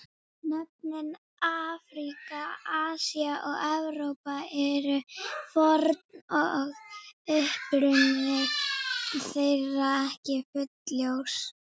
Nöfnin Afríka, Asía og Evrópa eru forn og uppruni þeirra ekki fullljós.